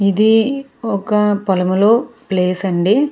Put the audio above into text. ఇది ఒక పొలములో ప్లేస్ అండి.